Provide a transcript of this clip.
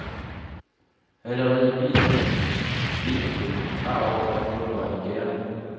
Allerede i bilen ind blev man klar over, at noget var i gære.